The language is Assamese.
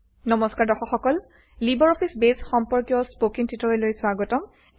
নমস্কাৰ দৰ্শক সকল লিবাৰঅফিছ বেছ সম্পৰ্কীয় স্পকেন টিউটৰিয়েললৈ স্বাগতম